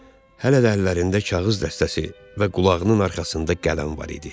Hələ də əllərində kağız dəstəsi və qulağının arxasında qələm var idi.